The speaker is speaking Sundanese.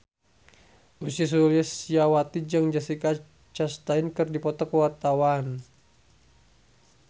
Ussy Sulistyawati jeung Jessica Chastain keur dipoto ku wartawan